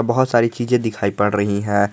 बहुत सारी चीजे दिखाई पड़ रही है।